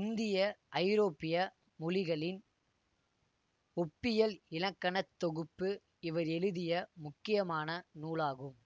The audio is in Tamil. இந்தியஐரோப்பிய மொழிகளின் ஒப்பியல் இலக்கணத் தொகுப்பு இவர் எழுதிய முக்கியமான நூலாகும்